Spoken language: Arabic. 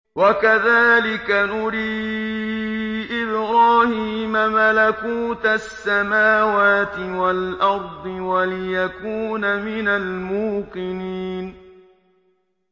وَكَذَٰلِكَ نُرِي إِبْرَاهِيمَ مَلَكُوتَ السَّمَاوَاتِ وَالْأَرْضِ وَلِيَكُونَ مِنَ الْمُوقِنِينَ